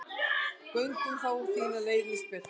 Göngum þá þína leið Ísbjörg.